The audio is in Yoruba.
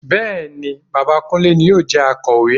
Bẹ́ẹ̀ ni, bàbá Kúnlé ni yóò jẹ Akọ̀wé